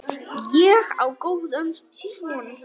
Ég á góðan son.